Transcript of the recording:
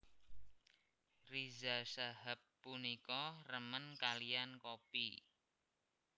Riza Shahab punika remen kaliyan kopi